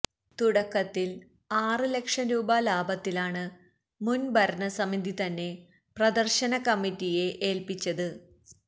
തുടക്കത്തില് ആറ് ലക്ഷം രൂപ ലാഭത്തിലാണ് മുന് ഭരണസമിതിതന്നെ പ്രദര്ശനകമ്മിറ്റിയെ ഏല്പ്പിച്ചത്